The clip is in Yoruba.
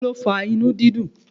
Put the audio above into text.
Kí ló fa inú dídùn?